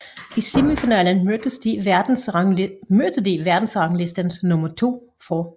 I semifinalen mødte de verdensranglistens nummer 2 fra